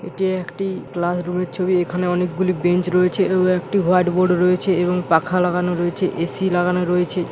এটি একটি classroom এর ছবি। এখানে অনেকগুলি বেঞ্চ রয়েছে একটি হোয়াইট বোর্ড রয়েছে এবং পাখা লাগানো রয়েছে এ.সি. লাগানো রয়েছে।